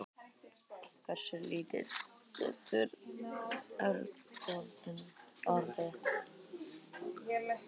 hversu lítill getur örgjörvinn orðið